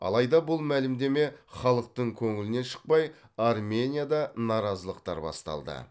алайда бұл мәлімдеме халықтың көңілінен шықпай арменияда наразылықтар басталды